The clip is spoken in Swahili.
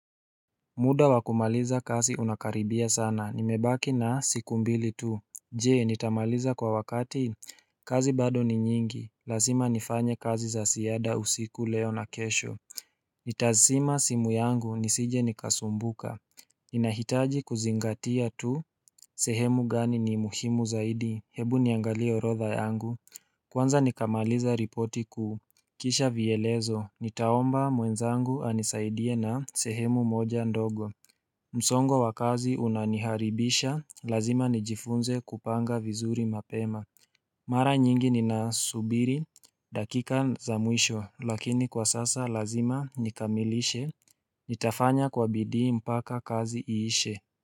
Muda wakumaliza kazi unakaribia sana nimebaki na siku mbili tu je nitamaliza kwa wakati kazi bado ni nyingi lazima nifanye kazi za ziada usiku leo na kesho nitazima simu yangu nisije nikasumbuka ninahitaji kuzingatia tu sehemu gani ni muhimu zaidi hebu niangalie orodha yangu kwanza nikamaliza ripoti kuu kisha vielezo nitaomba mwenzangu anisaidie na sehemu moja ndogo msongo wa kazi unaniharibisha, lazima nijifunze kupanga vizuri mapema Mara nyingi ni na subiri, dakika za mwisho lakini kwa sasa lazima nikamilishe Nitafanya kwa bidii mpaka kazi iishe.